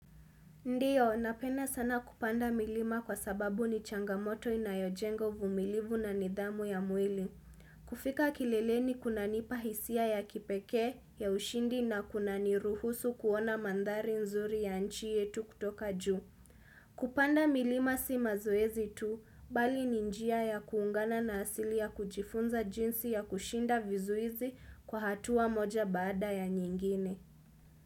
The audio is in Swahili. Ndiyo, napenda sana kupanda milima kwa sababu ni changamoto inayojenga uvumilivu na nidhamu ya mwili. Kufika kileleni kuna nipahisia ya kipeke ya ushindi na kuna niruhusu kuona mandhari nzuri ya nchi yetu kutoka juu. Kupanda milima si maoezi tu, bali ni njia ya kuungana na asili ya kujifunza jinsi ya kushinda vizuizi kwa hatua moja baada ya nyingine.